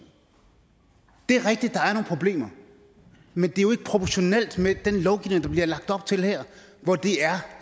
det er rigtigt at problemer men det er jo ikke proportionelt med den lovgivning der bliver lagt op til her